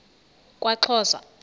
kwaxhosa